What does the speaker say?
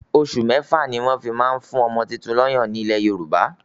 Osù mẹ́fà ni wọ́n fi ń ma ń fún ọmọ tuntun lọ́yàn ní ilẹ̀ Yorùbá.